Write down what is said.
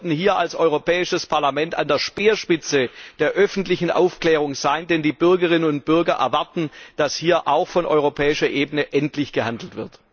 Wir sollten hier als Europäisches Parlament an der Speerspitze der öffentlichen Aufklärung sein, denn die Bürgerinnen und Bürger erwarten, dass hier auch auf europäischer Ebene endlich gehandelt